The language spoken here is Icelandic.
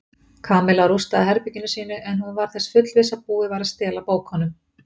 Kamilla rústaði herberginu sínu en hún var þess fullviss að búið væri að stela bókunum.